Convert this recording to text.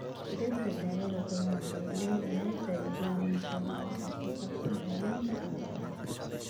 Dhirta daawada badanaa waxay leeyihiin faa'iidooyin muhiim ah oo ku saabsan daawaynta dhaqameed.